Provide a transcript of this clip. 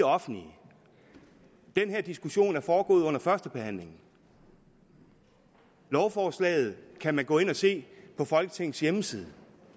offentlige den her diskussion er foregået under førstebehandlingen og lovforslaget kan man gå ind og se på folketings hjemmeside